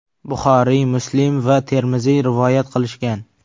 Buxoriy, Muslim va Termiziy rivoyat qilishgan.